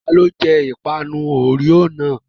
Tani ó jẹ ìpanu Oreo náà?